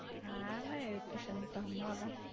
நாலாம் எப்படி சமைப்பேன் அம்மா தான்.